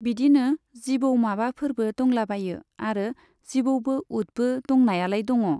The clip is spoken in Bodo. बिदिनो जिबौ माबाफोरबो दंलाबायो आरो जिबौबो उथबो दंनायालाय दङ।